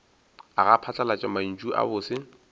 aga phatlalat mantšu a bose